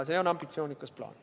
See on ambitsioonikas plaan.